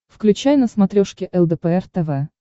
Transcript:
включай на смотрешке лдпр тв